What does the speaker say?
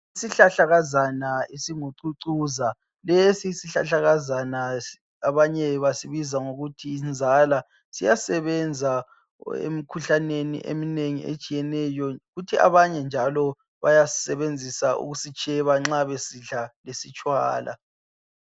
Isihlahlakazana esingucucuza lesi sihlahlakazana abanye basibiza ngokuthi yinzala, siyasebenza emikhuhlaneni eminengi etshiyeneyo kuthi abanye njalo bayasibenzisa ukusitsheba nxa besidla lesitshwala.